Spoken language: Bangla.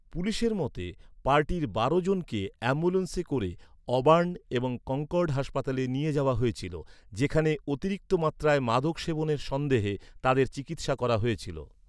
পুলিশের মতে, পার্টির বারো জনকে অ্যাম্বুলেন্সে করে অবার্ন এবং কনকর্ড হাসপাতালে নিয়ে যাওয়া হয়েছিল যেখানে অতিরিক্ত মাত্রায় মাদক সেবনের সন্দেহে তাদের চিকিৎসা করা হয়েছিল।